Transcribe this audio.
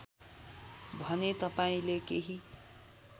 भने तपाईँले केही